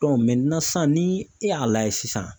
sisan ni e y'a lajɛ sisan